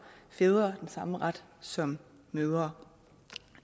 fædre den samme ret som mødre